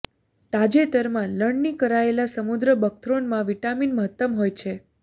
તાજેતરમાં લણણી કરાયેલા સમુદ્ર બકથ્રોનમાં વિટામીન મહત્તમ હોય છે